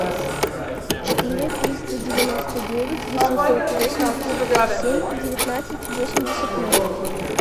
четыре триста девяносто девять восемьсот восемьдесят семь девятнадцать восемьдесят ноль